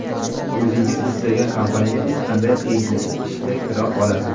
o‘zingiz istagan kompaniyaga hech qanday qiyinchiliksiz ishga kira olasiz.